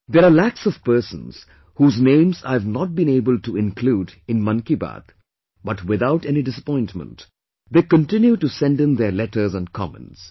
There are lakhs of persons whose names I have not been able to include in Mann Ki Baat but without any disappointment, they continue to sendin their letters and comments